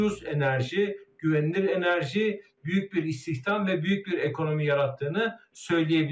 Ucuz enerji, güvənli enerji, böyük bir istihdam və böyük bir ekonomi yarattığını söyləyə biliriz.